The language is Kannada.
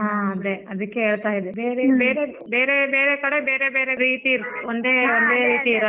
ಹ ಅದೇ ಅದಿಕ್ಕೆ ಹೇಳ್ತಾ ಇದ್ದೆ ಬೇರೆ ಬೇರೆ ಕಡೆ ಬೇರೆ ಬೇರೆ ರೀತಿ ಇರುತ್ತೆ ಒಂದೇ ರೀತಿ ಇರಲ್ಲ.